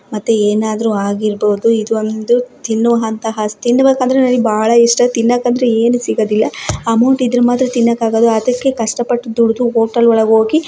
ಮತ್ತೆ ಏನಾದ್ರು ಆಗಿರಬಹುದು ಇದು ಒಂದು ತಿನ್ನುವಂತಹ ತಿನ್ಬೇಕ್ಕಂದ್ರೆ ನನಿಗೆ ಬಾಳ ಇಷ್ಟ ತಿನ್ನಾಕ್ ಅಂದ್ರೆ ಏನು ಸಿಗದಿಲ್ಲ ಅಮೌಂಟ್ ಇದ್ರೆ ಮಾತ್ರ ತಿನ್ನೋಕೆ ಆಗದು ಅದಿಕ್ಕೆ ಕಷ್ಟ ಪಟ್ಟು ದುಡ್ದು ಹೋಟೆಲ್ ಹೊಳ್ಗೆ ಹೋಗಿ--